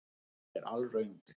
Þetta er alröng kenning.